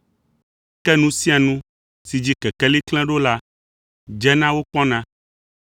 Ke nu sia nu si dzi kekeli klẽ ɖo la, dzena wokpɔna,